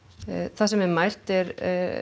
það sem er mælt er